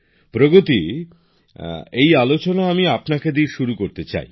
প্রগতি এই আলোচনা আমি আপনাকে দিয়ে শুরু করতে চাই